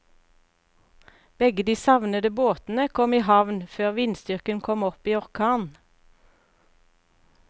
Begge de savnede båtene kom i havn før vindstyrken kom opp i orkan.